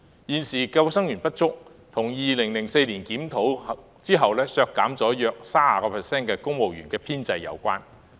現時之所以沒有足夠救生員，是跟2004年進行檢討後政府削減約 30% 公務員編制有關。